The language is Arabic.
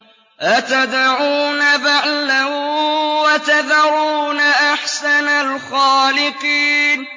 أَتَدْعُونَ بَعْلًا وَتَذَرُونَ أَحْسَنَ الْخَالِقِينَ